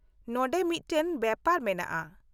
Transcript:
-ᱱᱚᱸᱰᱮ ᱢᱤᱫᱴᱟᱝ ᱵᱮᱯᱟᱨ ᱢᱮᱱᱟᱜᱼᱟ ᱾